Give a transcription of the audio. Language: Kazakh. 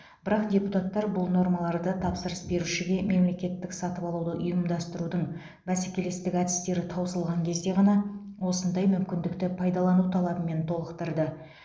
бірақ депутаттар бұл нормаларды тапсырыс берушіге мемлекеттік сатып алуды ұйымдастырудың бәсекелестік әдістері таусылған кезде ғана осындай мүмкіндікті пайдалану талабымен толықтырды